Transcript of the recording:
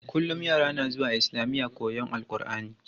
Kullum yara na zuwa islamiya koyon AlƘurʼani.